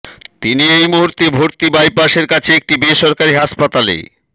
তিনি এই মুহূর্তে ভর্তি বাইপাসের কাছে একটি বেসরকারি হাসপাতালে